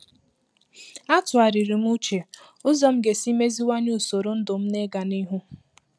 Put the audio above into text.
A tụwarịrị m uche ụzọ m ga-esi meziwanye usoro ndụ m n'iga n’ihu